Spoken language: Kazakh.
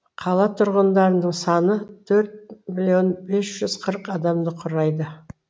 қала тұрғындарының саны төрт миллион бес жүз қырық адамды құрайды